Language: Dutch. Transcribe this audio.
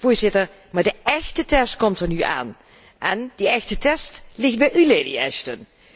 Voorzitter, maar de echte test komt er nu aan en die echte test ligt bij u, Lady Ashton.